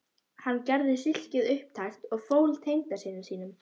Hann gerði silkið upptækt og fól tengdasyni sínum